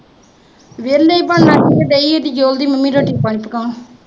ਵਿਹਲੇ ਈ, ਬਣਨਾ ਕੀ ਏ, ਮੰਮੀ ਡੈਡੀ